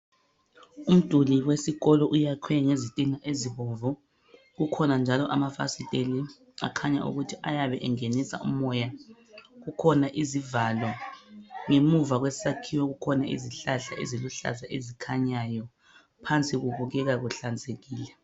Umduli wesikolo uyakhwe ngezitina ezibomvu. Kukhona njalo amafasiteli akhanya ukuthi ayabe engenisa umoya. Kukhona izivalo. Ngemuva kwesakhiwo kukhona izihlahla eziluhlaza ezikhanyayo. Phansi kubukeka kuhlanzekile.